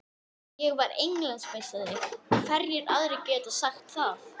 Ég var Englandsmeistari, hverjir aðrir geta sagt það?